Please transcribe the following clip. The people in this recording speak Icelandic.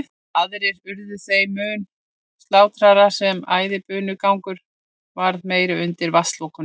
Aðrir urðu þeim mun kyrrlátari sem æðibunugangurinn varð meiri undir vatnslokunum.